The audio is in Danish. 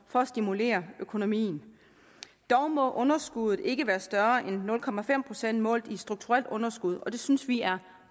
for at stimulere økonomien dog må underskuddet ikke være større end nul procent målt i strukturelt underskud og det synes vi er